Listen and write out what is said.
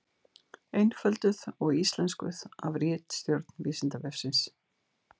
Einfölduð og íslenskuð af ritstjórn Vísindavefsins.